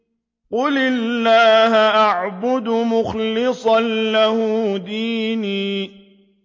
قُلِ اللَّهَ أَعْبُدُ مُخْلِصًا لَّهُ دِينِي